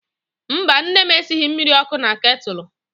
Mba, nne m esighị mmiri ọkụ na ketụlụ.